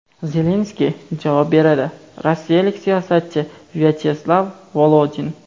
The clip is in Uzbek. Zelenskiy javob beradi – rossiyalik siyosatchi Vyacheslav Volodin.